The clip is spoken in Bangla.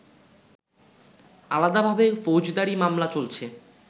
আলাদাভাবে ফৌজদারী মামলা চলছে